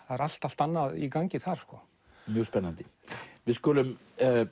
það er allt allt annað í gangi þar mjög spennandi við skulum